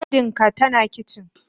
Burodin ka tana a kicin.